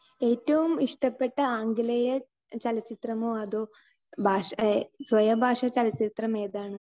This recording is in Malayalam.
സ്പീക്കർ 2 ഏറ്റവും ഇഷ്ടപ്പെട്ട ആംഗലേയ ചലച്ചിത്രമോ അതോ ഭാഷ, സ്വയഭാഷാ ചലച്ചിത്രം ഏതാണ്?